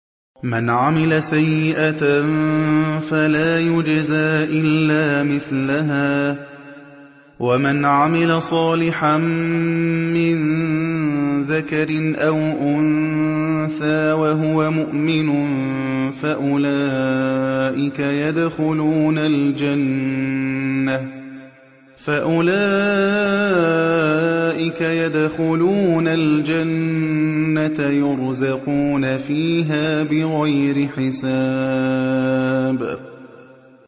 مَنْ عَمِلَ سَيِّئَةً فَلَا يُجْزَىٰ إِلَّا مِثْلَهَا ۖ وَمَنْ عَمِلَ صَالِحًا مِّن ذَكَرٍ أَوْ أُنثَىٰ وَهُوَ مُؤْمِنٌ فَأُولَٰئِكَ يَدْخُلُونَ الْجَنَّةَ يُرْزَقُونَ فِيهَا بِغَيْرِ حِسَابٍ